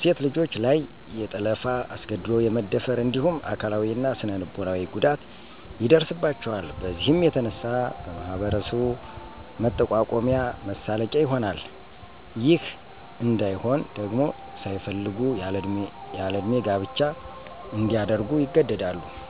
.ሴት ልጆች ላይ የጠለፋ, አስገድዶ የመደፈር እንዲሁም አካላዊ እና ስነልቦናዊ ጉዳት ይደርስባቸዋል። በዚህም የተነሳ በማህበረሰቡ መጠቋቆሚያ መሳለቂያ ይሆናል .ይህ እንይሆን ደግሞ ሳይፈልጉ ያለእድሜ ጋብቻ እንዲያደርጉ ይገደዳሉ።